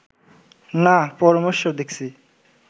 নাঃ, পরমেশ্বর দেখছি